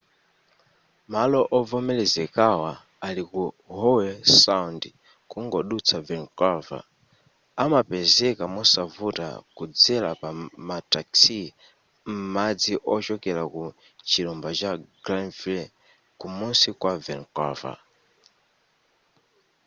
malo ovomerezekawa ali ku howe sound kungodutsa vancouver amapezeka mosavuta kudzera pama taxi m'madzi ochokera ku chilumba cha granville kumusi kwa vancouver